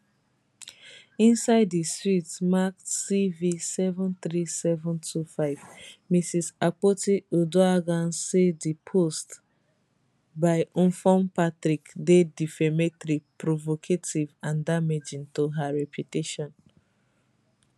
inside di suit marked cv73725 mrs akpotiuduaghan say di post by mfon patrick dey defamatory provocative and damaging to her reputation